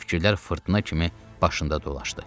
Fikirlər fırtına kimi başında dolaşdı.